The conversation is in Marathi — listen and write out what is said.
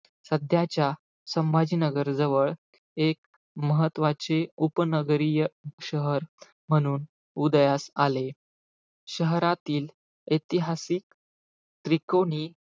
सध्याच्या संभाजीनगर जवळ एक महत्वाचे उपनगरीय शहर, म्हणून उदयास आले. शहरातील ऐतिहासिक त्रिकोणी,